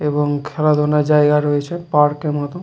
এবং খেলাধুলার জায়গা রয়েছে পার্ক -এর মতন।